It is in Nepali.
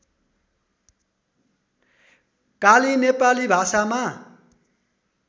काली नेपाली भाषामा